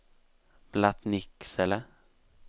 Blattnicksele